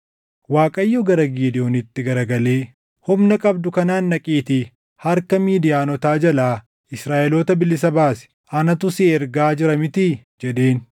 Waaqayyo gara Gidewoonitti garagalee, “Humna qabdu kanaan dhaqiitii harka Midiyaanotaa jalaa Israaʼeloota bilisa baasi. Anatu si ergaa jira mitii?” jedheen.